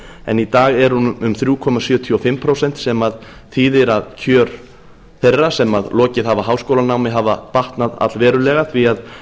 en í dag er hún um þrjú komma sjötíu og fimm prósent sem þýðir að kjör þeirra sem lokið hafa háskólanámi hafa batnað allverulega því